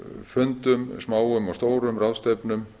fundum smáum og stórum ráðstefnum